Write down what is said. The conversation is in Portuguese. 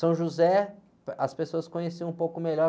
São José, as pessoas conheciam um pouco melhor.